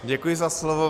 Děkuji za slovo.